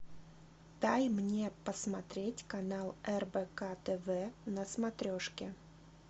дай мне посмотреть канал рбк тв на смотрешке